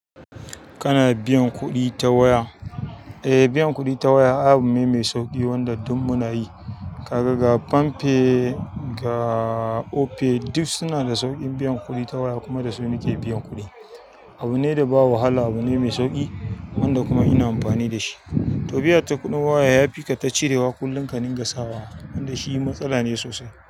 Kana biyan kuɗi ta waya. Eh, biyan kuɗi ta waya abu ne mai sauƙi wanda duk muna yi. Kaga ga palmpay, ga Opay, duk suna da saurin biyan kuɗi ta waya kumadasu muke biyan kuɗi. Abu ne da ba wahala, abu ne mai sauƙi wanda kuma ina amfani da shi. To biya ta kuɗin waya yafi kayi ta cirewa kullum ka ringa sawa wanda shi matsala ne sosai.